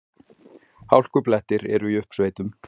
Hálkublettir eru í uppsveitum